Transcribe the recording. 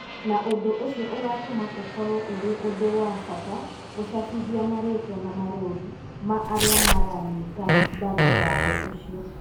na ũndũ ũcio ũgatũma ũkorũo ũrĩ ũndũ wa bata gũcabithia marĩĩtwa na marũũri ma arĩa maranyita mbaru watho ũcio.